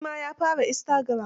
Shi ma yaa fara Istagiram.